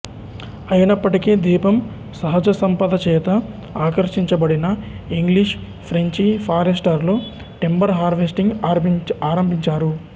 అయినప్పటికీ ద్వీపం సహజసంపదచేత ఆకర్షించబడిన ఇంగ్లీష్ ఫ్రెంచి ఫారెస్టర్లు టింబర్ హార్వెస్టింగ్ ఆరంభించారు